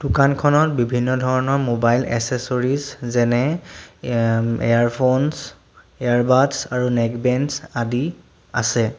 দোকানখনত বিভিন্ন ধৰণৰ মোবাইল এছেচৰিছ যেনে এয়ম ইয়াৰফোনচ ইয়াৰ বাদচ আৰু নেক বেঞ্চ আদি আছে।